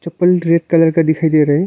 Purple red colour का दिखाई दे रहा है।